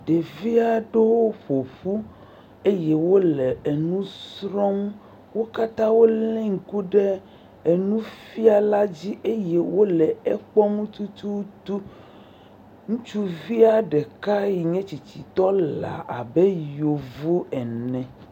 Ɖevi aɖewo woƒo ƒu eye wole enu srɔm. wo kata woli ŋku ɖe enufiala dzi eye wole ekpɔm tututu. Ŋutsuvia ɖeka si nye tsitsitɔ wole abe yevu ane.